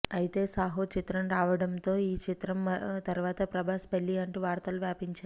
అయితే సాహో చిత్రం రావడం తో ఈ చిత్రం తరువాత ప్రభాస్ పెళ్ళి అంటూ వార్తలు వ్యాపించాయి